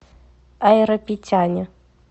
айрапетяне